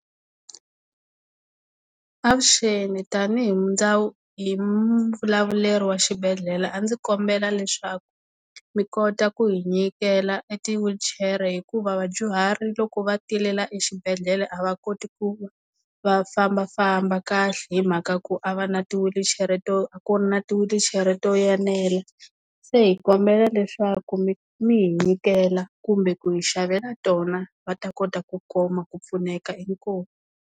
Avuxeni, tanihi hi hi mavulavuleri wa xibedhlele a ndzi kombela leswaku mi kota ku hi nyikela e tiwilichere hikuva vadyuhari loko va tile laha exibedele a va koti ku va fambafamba kahle hi mhaka ya ku a va na tiwilichere to a ku na tiwilichere to yenela se hi kombela leswaku mi mi hi nyikela kumbe ku hi xavela tona va ta kota ku kuma ku pfuneka inkomu.